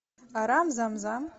арам зам зам